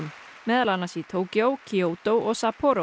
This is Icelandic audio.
meðal annars í Tókýó Kyoto og